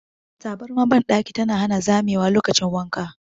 Tabarmar bandaki tana hana zamewa lokacin wanka.